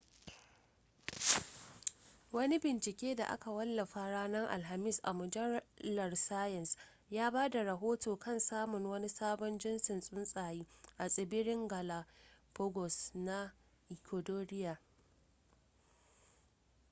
wani bincike da aka wallafa ranar alhamis a mujallar science ya ba da rohoto kan samuwar wani sabon jintsin tsuntsaye a tsibiran galapagos na ecuadoria